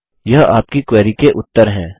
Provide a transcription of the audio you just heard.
यह आपकी क्वेरी के उत्तर हैं